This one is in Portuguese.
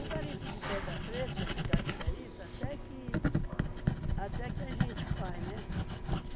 O garimpo de pedra preta, de cassiterita, até que... Até que a gente faz, né?